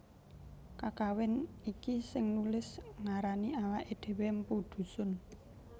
Kakawin iki sing nulis ngarani awaké dhéwé mpu Dhusun